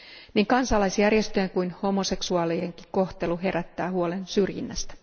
Niin kansalaisjärjestöjen kuin homoseksuaalienkin kohtelu herättää huolen syrjinnästä.